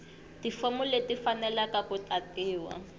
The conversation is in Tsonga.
tifomu leti tifaneleke ku tatiwa